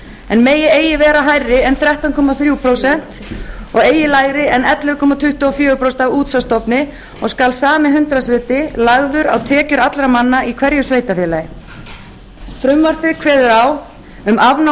en megi eigi vera hærri en þrettán komma þrjú prósent og eigi lægri en ellefu komma tuttugu og fjögur prósent af útsvarsstofni og skal sami hundraðshluti lagður á tekjur allra manna í hverju sveitarfélagi frumvarpið kveður á um afnám